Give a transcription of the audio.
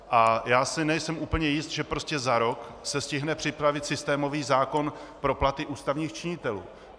A já si nejsem úplně jist, že prostě za rok se stihne připravit systémový zákon pro platy ústavních činitelů.